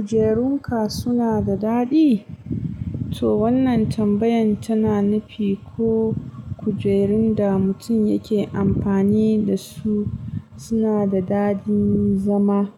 Kujerunka suna da daɗi? To wannan tambayan tana nufi ko kujerun da mutum yake amfani da su suna da daɗin zama.